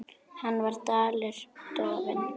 Hann var allur dofinn.